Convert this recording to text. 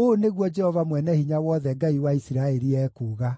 “Ũũ nĩguo Jehova Mwene-Hinya-Wothe, Ngai wa Isiraeli, ekuuga: